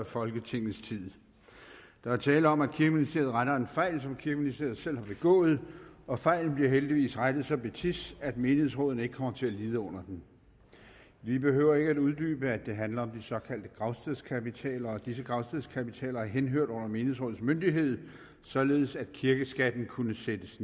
folketingets tid der er tale om at kirkeministeriet retter en fejl som kirkeministeriet selv har begået og fejlen bliver heldigvis rettet så betids at menighedsrådene ikke kommer til at lide under den vi behøver ikke at uddybe at det handler om de såkaldte gravstedskapitaler og disse gravstedskapitaler har henhørt under menighedsrådenes myndighed således at kirkeskatten kunne sættes